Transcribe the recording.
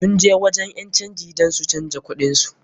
Sun je wajen ƴan canji dan su canja kuɗin su.